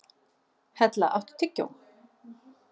Hella, áttu tyggjó?